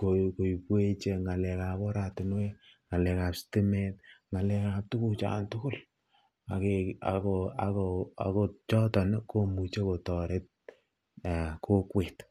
koibwech ng'alekab oratinwek, ng'alekab sitimet, ng'alekab tukuchan tukul ak kochoton komuche kotoret kokwet.